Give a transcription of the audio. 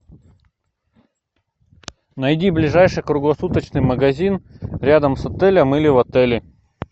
найди ближайший круглосуточный магазин рядом с отелем или в отеле